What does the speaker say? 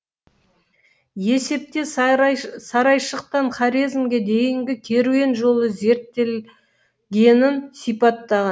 есепте сарайшықтан хорезмге дейінгі керуен жолы зерттелгенін сипаттаған